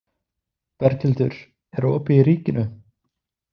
Berghildur, er opið í Ríkinu?